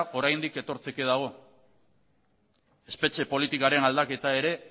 oraindik etortzeko dago espetxe politikaren aldaketa ere